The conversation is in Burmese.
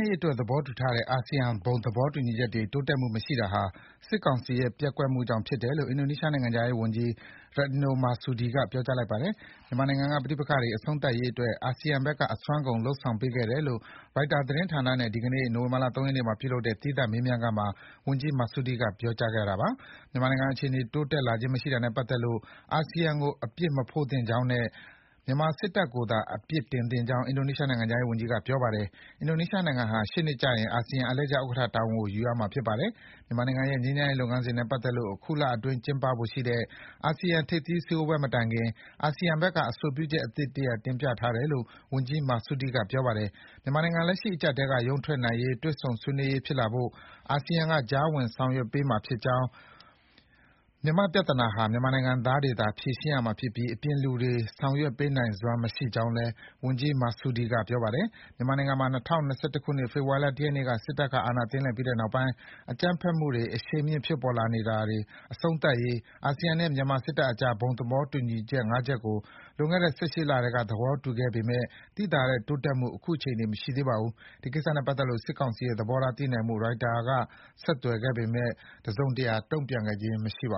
ရေးအတွက် သဘောတူထားတဲ့ အာဆီယံဘုံသဘောတူညီချက်တွေ တိုးတက်မှုမရှိတာဟာ စစ်ကောင်စီရဲ့ ပျက်ကွက်မှုကြောင့်ဖြစ်တယ်လို့ အင်ဒိုနီးရှားနိုင်ငံခြားရေးဝန်ကြီး Retno Marsudi ကပြောကြားလိုက်ပါတယ်။ မြန်မာနိုင်ငံကပဋိပက္ခတွေ အဆုံးသတ်ရေးအတွက် အာဆီယံဘက်က အစွမ်းကုန် လုပ်ဆောင်ပေးခဲ့တယ်လို့ ရိုက်တာသတင်းဌာနနဲ့ ဒီကနေ့ နိုဝင်ဘာ ၃ ရက်နေ့မှာ သီးသန့်မေးမြန်းခန်းမှာ ဝန်ကြီး Marsudi ကပြောကြားခဲ့တာပါ။ မြန်မာနိုင်ငံအခြေအနေ တိုးတက်လာခြင်းမရှိတာနဲ့ပတ်သက်လို့ အာဆီယံကို အပြစ်မဖို့သင့်ကြောင်းနဲ့ မြန်မာစစ်တပ်ကိုသာ အပြစ်တင်သင့်ကြောင်း အင်ဒိုနီးရှားနိုင်ငံခြားရေးဝန်ကြီးက ပြောပါတယ်။ အင်ဒိုနီးရှားနိုင်ငံဟာ ရှေ့နှစ်ကျရင် အာဆီယံအလှည့်ကျဥက္ကဋ္ဌတာဝန်ကို ယူရမှာဖြစ်ပါတယ်။ မြန်မာနိုင်ငံရဲ့ ငြိမ်းချမ်းရေးလုပ်ငန်းစဉ်နဲ့ပတ်သက်လို့ အခုလအတွင်း ကျင်းပဖို့ရှိတဲ့ အာဆီယံ ထိပ်သီးစည်းဝေးပွဲမတိုင်ခင် အာဆီယံဘက်က အဆိုပြုချက်အသစ် တင်ပြထားတယ်လို့ ဝန်ကြီး Marsudi က ပြောပါတယ်။ မြန်မာနိုင်ငံ လက်ရှိအကြပ်အတည်းက ရုန်းထွက်နိုင်ရေးနဲ့ တွေ့ဆုံ ဆွေးနွေးရေးဖြစ်လာဖို့ အာဆီယံက ကြားဝင်ဆောင်ရွက်ပေးမှာဖြစ်ကြောင်း၊ မြန်မာ့ပြဿနာဟာ မြန်မာနိုင်ငံသားတွေသာ ဖြေရှင်းရမှာဖြစ်ပြီး အပြင်လူတွေ ဆောင်ရွက်ပေးနိုင်စွမ်းမရှိကြောင်းလည်း ဝန်ကြီး Marsudi က ပြောပါတယ်။ မြန်မာနိုင်ငံမှာ ၂၀၂၁ ဖေဖော်ဝါရီလ ၁ ရက်နေ့က စစ်တပ်က အာဏာသိမ်းလိုက်ပြီးတဲ့နောက်ပိုင်း အကြမ်းဖက်မှုတွေ အရှိန်မြင့်လာနေတာတွေ အဆုံးသတ်ရေး အာဆီယံနဲ့ မြန်မာစစ်တပ်အကြား ဘုံသဘောတူညီ (၅) ချက်ကို လွန်ခဲ့တဲ့ ၁၈ လကတည်းက သဘောတူခဲ့ပေမယ့် သိသာတဲ့တိုးတက်မှု ခုချိန်ထိ မရှိသေးပါဘူး။ ဒီကိစ္စနဲ့ပတ်သက်လို့ စစ်ကောင်စီရဲ့ သဘောထားသိနိုင်ဖို့ ရိုက်တာသတင်းဌာနက ဆက်သွယ်တာကို စစ်ကောင်စီဘက်က တစုံတရာ တုံ့ပြန်ခဲ့ခြင်းမရှိဘူ